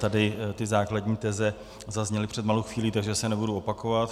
Tady ty základní teze zazněly před malou chvílí, takže se nebudu opakovat.